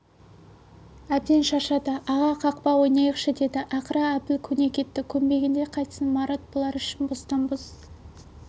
әбден шаршады аға қақпа ойнайықшы деді ақыры әбіл көне кетті көнбегенде қайтсін марат бұлар үшін бостан-бос